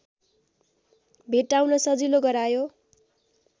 भेट्टाउन सजिलो गरायो